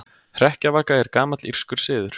Hrekkjavaka er gamall írskur siður.